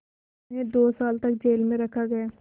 उन्हें दो साल तक जेल में रखा गया